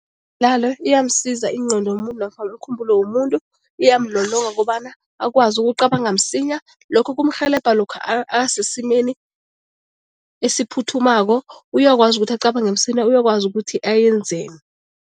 iyamsiza ingqondo yomuntu nofana umkhumbulo womuntu, iyamlolonga ukobana akwazi ukucabanga msinya. Lokhu kumrhelebha lokha asesimeni esiphuthumako, uyakwazi ukuthi acabange msinya, uyakwazi ukuthi ayenzeni.